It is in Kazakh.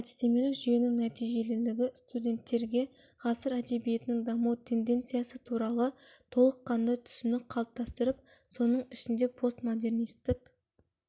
әдістемелік жүйенің нәтижелілігі студенттерге ғасыр әдебиетінің даму тенденциясы туралы толық қанды түсінік қалыптастырып соның ішінде постмодернистік